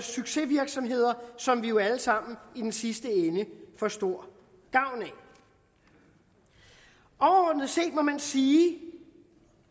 succesvirksomheder som vi jo alle sammen i den sidste ende får stor gavn af overordnet set må man sige